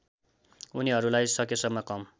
उनीहरूलाई सकेसम्म कम